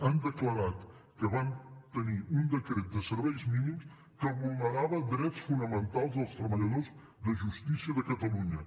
han declarat que van tenir un decret de serveis mínims que vulnerava drets fonamentals dels treballadors de justícia de catalunya